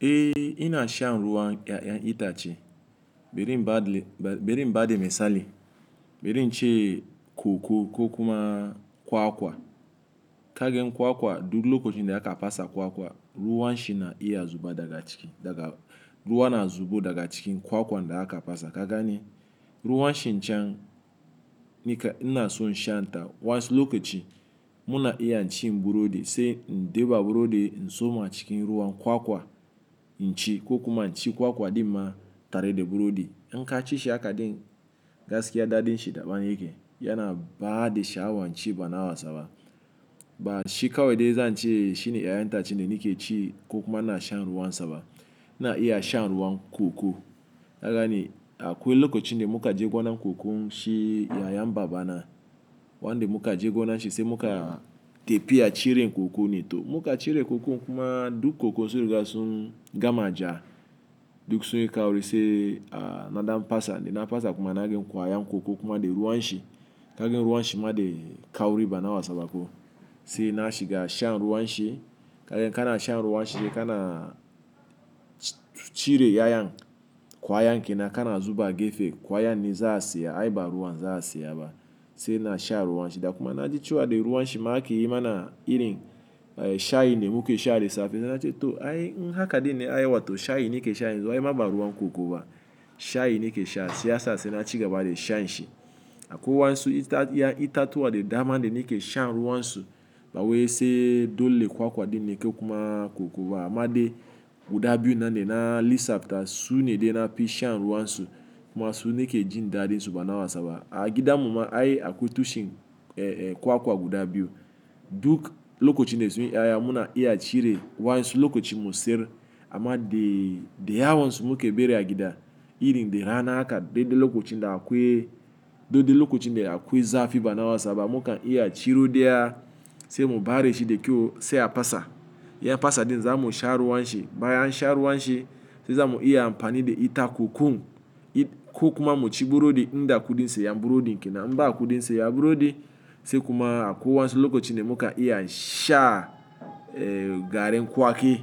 Eh ina shan ruwan ƴaƴan itace, bari bada, bari in bada misali, bari na ce koko ko kuma kwakwa. Kaga in kwakwa duk lokacin da aka fasa kwakwa ruwan shi na iya zuba daga ciki, daga ruwa na zubo daga cikin kwakwan da aka fasa. Ka gane ruwan shi can, nakan ina so in sha ta. Wani lokaci muna iya cin burodi sai in deba burodi in tsoma cikin ruwan kwakwa in ci ko kuma in ci kwakwa ɗin ma tare da burodi. In ka ci shi hakadin gaskiya daɗin shi daban yake. Yana bada sha'awan ci ba na wasa ba. Ba shi kawai dai zan ce shine ƴaƴan itace da nake ci ko kuma ina shan ruwan saba. Ina iya shan ruwan koko. Ka gane akwai lokacin da muka je gonar kokon shi yayan baba na, wanda muka je gona shi sai muka tafiya cire koko ne to muka cire koko kuma duk kokonm sun riga sun gama ja duk sun yi kauri sai a naɗan fasa dana fasa kuma na ga kwayan koko kuma da ruwan shi. Kaga ruwan shi ma da kauri ba na wasaba ko. Sai na shiga shan ruwan shi. Kaga in kana shan ruwan shi dai kana cire yayan kwayan kenan kana zuba gefe kwayan ne za a siya ai ba ruwan za a siya ba. Sai na sha ruwan shi da kuma na ji cewa da ruwan shi ma ake yi mana irin shayn da muke sha da safe. Na ce to ai in haka din ne ai wato shayi ne ke sha yanzu ai ma ba ruwan koko ba. Shayi ne ke sha sai ya sa na ci gaba da shan shi. Akwai wasu itatuwa da dama da nake shan ruwan su. Ba wai sai dole kwakwa din ne ko kuma koko ba amma dai guda biyu da na lissafa su ne dai nafi shan ruwan su kuma su ne ke jin daɗin su ba na wasaba. A gidan mu ma ai akwai tushen eh eh kwakwa guda biyu. Duk lokacin da sun yi yaya muna iya cire wasu lokacin mu siyar amma dai, da yawan su mu ke bari a gida irin dai rana haka deɗe lokacin da akwai, dede lokacin da akwai zafi ba na wasaba muka iya ciro daya sai mu bare shi da kyau sai a fasa. Ya fasa din za mu sha ruwan shi. Bayan an sha ruwan shi za mu iya amfani da ita kokon, ko kuma mu ci burodi in da kuɗin siyan burodin kenan. In ba kuɗin siyan burodi sai kuma ko wasu lokacin da muka iya sha eh garin kwaki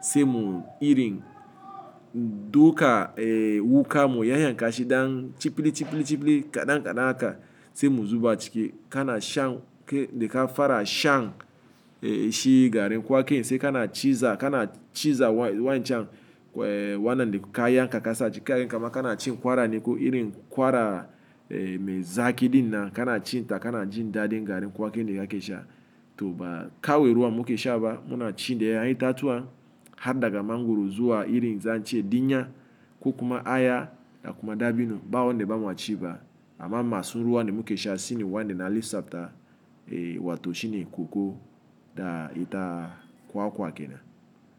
sai mu irin duka eh wuƙa mu yayyan kashi ɗan cipilli, cipilli, cipilli kaɗan-kaɗan haka sai mu zuba ciki. Kana shan ke dai ka fara shan eh shi garin kwakin sai kana ciza, kana ciza wadanchan eh wannan da ka yanka ka sace kai ga kuma kana cin ƙwara ne ko irin ƙwara eh mai zaki din nan kana cin ta kana jin daɗin garin kwaki da kake sha. To ba kawai ruwan mu ke sha ba muna cin da ƴaƴan itatuwa har daga mangwaro zuwa irin zan ce dinya ko kuma aya da kuma dabino. Ba wanda ba mu ci ba amma masu ruwan da mu ke sha sune wanda na lissafa eh wato shine koko da ita kwakwa kenan.